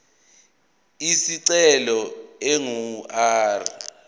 isicelo ingu r